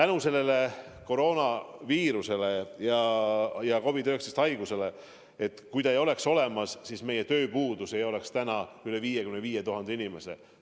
Kui koroonaviirust ja COVID-19 haigust ei oleks olemas, siis meil ei oleks töötuid üle 55 000 inimese.